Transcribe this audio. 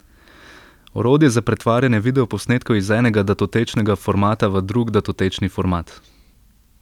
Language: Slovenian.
Orodje za pretvarjanje videoposnetkov iz enega datotečnega formata v drug datotečni format.